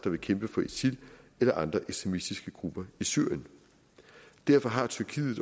vil kæmpe for isil eller andre ekstremistiske grupper i syrien derfor har tyrkiet